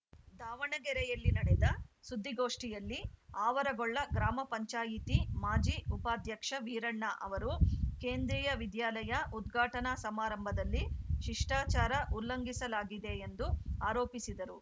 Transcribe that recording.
ದಾವಣಗೆರೆಯಲ್ಲಿ ನಡೆದ ಸುದ್ದಿಗೋಷ್ಠಿಯಲ್ಲಿ ಆವರಗೊಳ್ಳ ಗ್ರಾಮ ಪಂಚಾಯತಿ ಮಾಜಿ ಉಪಾಧ್ಯಕ್ಷ ವೀರಣ್ಣ ಅವರು ಕೇಂದ್ರೀಯ ವಿದ್ಯಾಲಯ ಉದ್ಘಾಟನಾ ಸಮಾರಂಭದಲ್ಲಿ ಶಿಷ್ಟಾಚಾರ ಉಲ್ಲಂಘಿಸಲಾಗಿದೆಂದು ಆರೋಪಿಸಿದರು